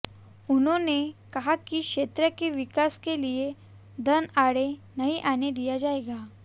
उन्होंने कहा कि क्षेत्र के विकास के लिए धन आड़े नहीं आने दिया जाएगा